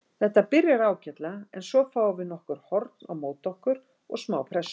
Þetta byrjar ágætlega en svo fáum við nokkur horn á móti okkur og smá pressu.